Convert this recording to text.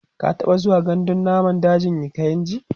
ka taɓa zuwa gandun dajin kainji?